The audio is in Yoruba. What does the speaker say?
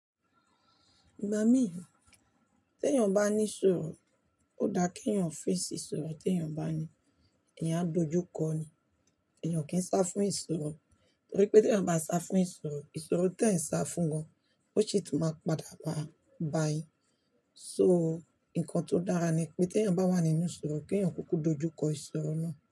Ìgbà mí, tí èèyàn bá ní ìṣòro, ó dáa kí èèyàn fèsì ìṣòro tí èèyàn bá ní. Ẹ̀yàn à dojú kọ́ ni, èèyàn o kì ì sá fún ìṣòro, torí pé tí èèyàn bá sá fún ìṣòro, ìṣòro tí ẹ́ sá fún gan, ó ṣi tú máa padà wá a bá yín. So, ǹkan tó dára ni pé tí èèyàn bá wà nínú ìṣòro kí èèyàn kúkú dojú kọ ìṣòro náà.